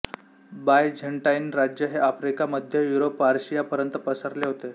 Byzantine राज्य हे Africa मध्य युरोप पर्शियापर्यंत पसरले होते